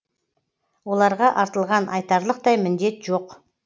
оларға артылған айтарлықтай міндет жоқ